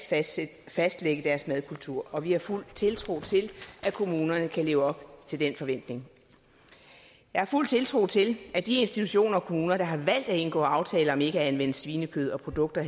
fastlægge deres madkultur og vi har fuld tiltro til at kommunerne kan leve op til den forventning jeg har fuld tiltro til at de institutioner og kommuner der har valgt at indgå aftaler om ikke at anvende svinekød og produkter